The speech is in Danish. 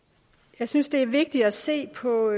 jeg synes det er vigtigt at se på